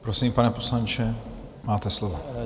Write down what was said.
Prosím, pane poslanče, máte slovo.